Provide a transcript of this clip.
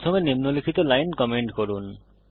প্রথমে নিম্নলিখিত line comment করুন